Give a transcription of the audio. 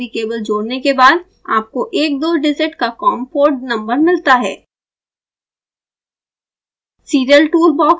कभीकभी usb cable जोड़ने के बाद आपको एक दो डिजिट का com पोर्ट नंबर मिलता है